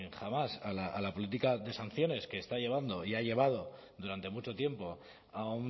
jamás a la política de sanciones que está llevando y ha llevado durante mucho tiempo a